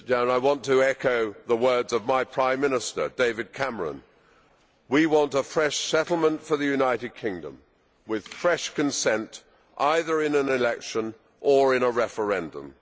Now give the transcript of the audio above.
I want to echo the words of my Prime Minister, David Cameron. We want a fresh settlement for the United Kingdom with fresh consent, either in an election or in a referendum.